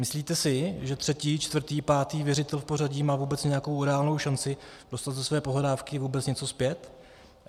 Myslíte si, že třetí, čtvrtý, pátý věřitel v pořadí má vůbec nějakou reálnou šanci dostat za své pohledávky vůbec něco zpět?